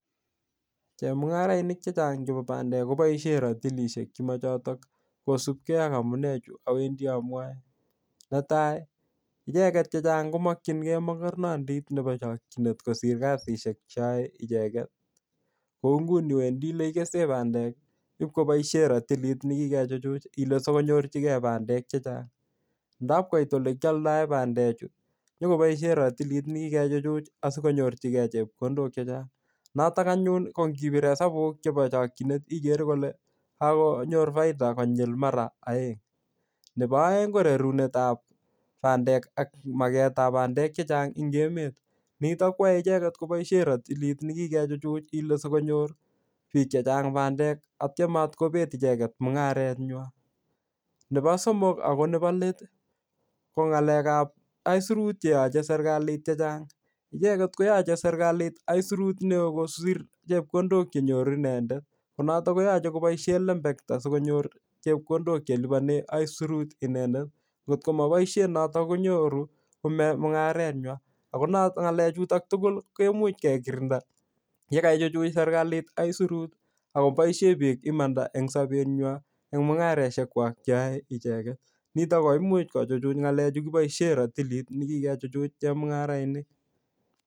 Chemung'arainik chechang' chebo bandek koboishe ratilishek chemachoto kosupgei ak amune chu awendi amwoe netai icheget chechang' komokchingei mokornandit chebo chokchinet kosir kasishek cheyie icheget kou nguni wendi olekikese bandek ipkoboishe ratilit nekikechichuch ile sikonyorchigei bandek chechang' ndapkoit ole kioldoe bandechu nyikoboishe ratilit nekikechichuch asikonyorchigei chepkondok chechang' noto anyun ko ngibir hesabuk chebo chokchinet igere Ile kakonyor faida ko nyul mara oeng' nebo oeng' ko rorunetab bandek ak marketable bandek chechang' eng' emet nito kwae icheget koboishe ratilit nekikechuchuch ile sikonyor biik chechang' bandek atcho matkobet icheget mung'areywai nebo somok ak nebo let ko ng'alekab aisurut cheyochei serikali chechang' icheget koyochei serikali aisurut neo kosir chepkondok chenyoru inendet ko konoto koyochei koboishe lembekta sikonyor chepkondok chelipani aisurut inendet ngokomaboishe notokonyoru kong'emak mung'areywai ako ng'lechuto togul kemuch kekirinda ye kaichuchuch serikali isurut akoboishe biik imanda eng' sobenywai eng' mung'areshekwaich cheyoi icheket nito komuch kuchuchuch ng'alechu kiboishe ratilit nekikechuchuch chemung'arainik